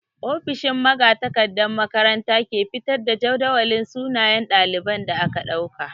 Ofishin magatakardan makaranta ke fitar da jadawalin sunayen ɗalibai da aka ɗauka.